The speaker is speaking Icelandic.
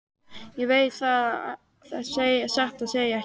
Ég veit það satt að segja ekki.